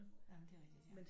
Nej men det er rigtigt ja